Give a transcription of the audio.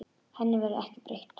Henni verður ekki breytt.